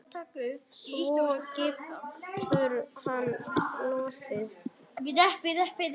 Svo getur hann lesið.